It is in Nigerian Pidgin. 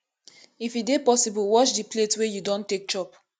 if e dey possible wash di plates wey you don take chop